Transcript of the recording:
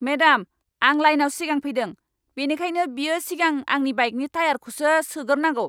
Madam, आं लाइनाव सिगां फैदों, बेनिखायनो बियो सिगां आंनि बाइकनि टायारखौसो सोगोरनांगौ!